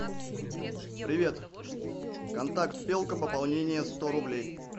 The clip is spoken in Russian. привет контакт белка пополнение сто рублей